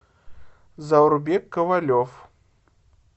заурбек ковалев